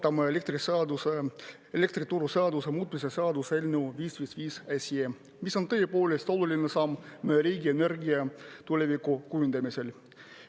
Täna me arutame elektrituruseaduse muutmise seaduse eelnõu 555, mis on tõepoolest oluline samm riigi energiatuleviku kujundamisel.